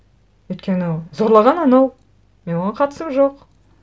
өйткені зорлаған анау менің оған қатысым жоқ